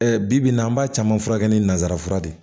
bi bi in na an b'a caman furakɛ ni nanzara fura ye